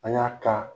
An y'a ka